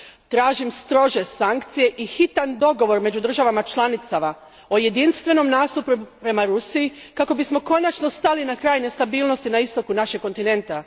Tražim strože sankcije i hitan dogovor među državama članicama o jedinstvenom nastupu prema Rusiji kako bismo konačno stali na kraj nestabilnosti na istoku našeg kontinenta.